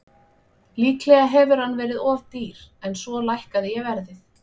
Líklega hefur hann verið of dýr en svo lækkaði ég verðið.